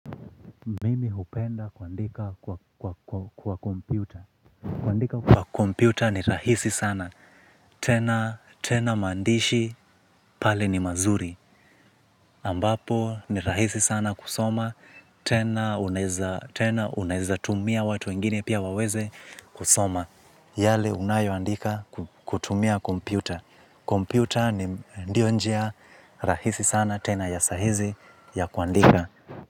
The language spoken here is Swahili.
Pia hupenda kuandika kwa kompyuta kuandika kwa kompyuta ni rahisi sana tena. Tena maandishi pale ni mazuri. Ambapo ni rahisi sana kusoma. Tena unaweza tumia watu wengine pia waweze kusoma. Yale unayoandika kutumia kompyuta. Kompyuta ndio njia rahisi sana tena ya sahizi ya kuandika.